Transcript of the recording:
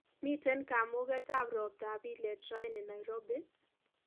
Miten kamunget ab robta ab ilet raini Nairobi?